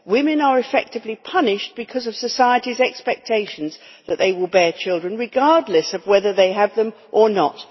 Women are in effect punished because of society's expectations that they will bear children, regardless of whether they have them or not.